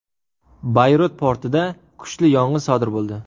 Bayrut portida kuchli yong‘in sodir bo‘ldi.